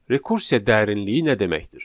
Rekursiya dərinliyi nə deməkdir?